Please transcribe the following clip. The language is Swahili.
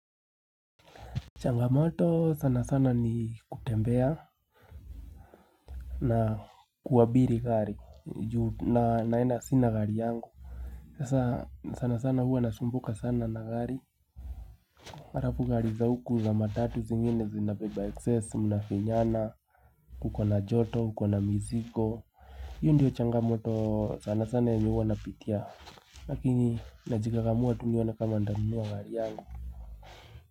Changamoto sana sana ni kutembea na kuabiri gari juu na naenda sina gari yangu Sasa sana sana huwa nasumbuka sana na gari Mara tu gari za huku za matatu zingine zinabeba excess, mnafinyana uko na joto, uko na mizigo Hio ndio changamoto sana sana yenye huwa napitia Lakini najikakamua tu nione kama nitanunua gari yangu.